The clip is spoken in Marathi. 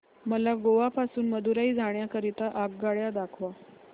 मला गोवा पासून मदुरई जाण्या करीता आगगाड्या दाखवा